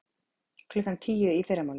Klukkan tíu í fyrramálið?